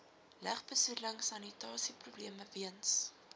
lugbesoedeling sanitasieprobleme weens